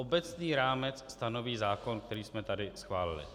Obecný rámec stanoví zákon, který jsme tady schválili.